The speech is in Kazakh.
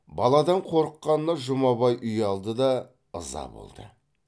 баладан қорыққанына жұмабай ұялды да ыза болды